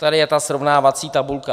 Tady je ta srovnávací tabulka.